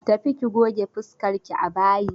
Tafi ki goge fuskarki a bayi!